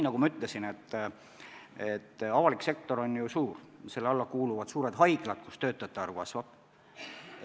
Nagu ma ütlesin, avalik sektor on ju suur, selle alla kuuluvad näiteks ka suured haiglad, kus töötajate arv kasvab.